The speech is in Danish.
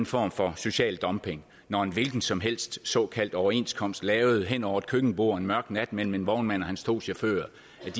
form for social dumping når en hvilken som helst såkaldt overenskomst lavet hen over et køkkenbord en mørk nat mellem en vognmand og hans to chauffører